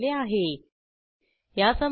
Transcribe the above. यासंबंधी माहिती पुढील साईटवर उपलब्ध आहे